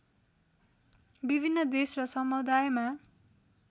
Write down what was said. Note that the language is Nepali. विभिन्न देश र समुदायमा